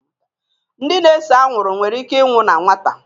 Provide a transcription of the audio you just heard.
ndị na-ese anwụrụ nwere ike ịnwụ na nwata